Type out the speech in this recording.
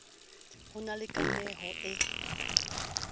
ho na le kameho e